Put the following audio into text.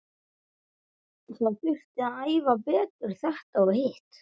Það þurfti að æfa betur þetta og hitt.